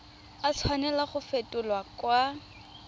a tshwanela go fetolwa kwa